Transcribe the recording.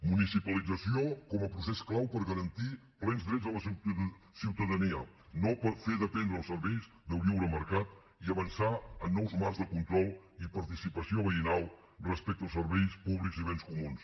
municipalització com a procés clau per garantir plens drets a la ciutadania no per fer dependre els serveis del lliure mercat i avançar en nous marcs de control i participació veïnal respecte als serveis públics i bens comuns